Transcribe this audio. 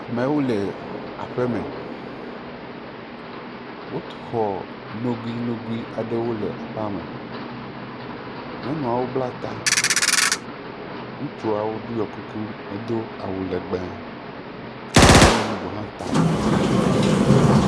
Amewo le aƒeme. Wotu xɔ nogoe nogoe aɖewo le aƒea me. Nyɔnuawo bla ta, ŋutsua ɖɔe kuku he do awu legbe. Nyɔnu bubu hã ta avɔ eye wo bla ta.